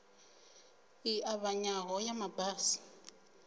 i ṱavhanyaho ya ma basi